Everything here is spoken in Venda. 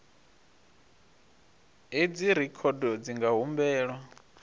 hedzi rekhodo dzi nga humbelwa